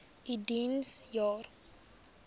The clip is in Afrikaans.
u diens jare